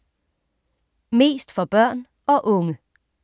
Mest for børn og unge